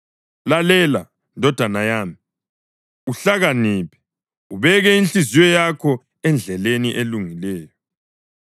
Lalela, ndodana yami, uhlakaniphe, ubeke inhliziyo yakho endleleni elungileyo.